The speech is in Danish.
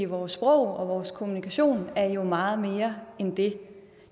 vores sprog og vores kommunikation er jo meget mere end det